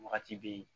Wagati bɛ yen